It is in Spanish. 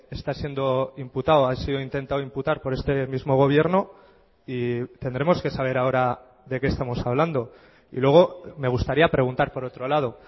está siendo imputado ha sido intentado imputar por este mismo gobierno y tendremos que saber ahora de qué estamos hablando y luego me gustaría preguntar por otro lado